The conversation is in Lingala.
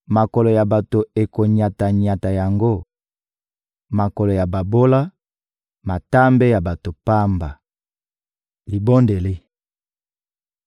Makolo ya bato ekonyata-nyata yango: makolo ya babola, matambe ya bato pamba. Libondeli